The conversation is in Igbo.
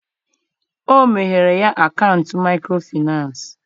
o meghere ya akaụntụ micro Finance.